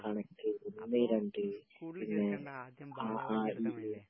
കണക്ക്, ഒന്നേ രണ്ട് ..പിന്നെ...അ, ആ, ഇ, ഈ